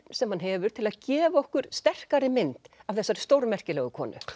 sem hann hefur til að gefa okkur sterkari mynd af þessari stórmerkilegu konu